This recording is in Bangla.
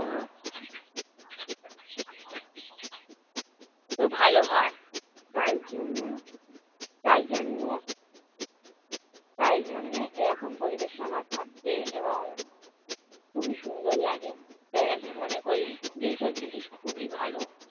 তো ভালো হয়। তাই জন্য তাই জন্যে তাই জন্যে এরকম পরিবেশে আমার থাকতে এবং খুবই সুন্দর লাগে। তাই আমি মনে করি যে, এইসব জিনিস খুবই ভালো।